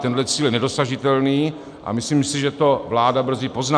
Tenhle cíl je nedosažitelný a myslím si, že to vláda brzy pozná.